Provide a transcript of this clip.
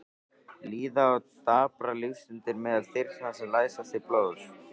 Líða og daprar lífsstundir meðal þyrna sem læsast til blóðs.